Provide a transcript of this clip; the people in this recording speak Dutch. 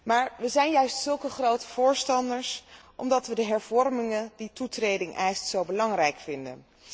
Maar we zijn juist zulke grote voorstanders omdat we de hervormingen die toetreding eist zo belangrijk vinden.